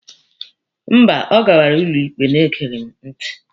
Mba, ọ gawara ụlọ ikpe na-egeghị m ntị.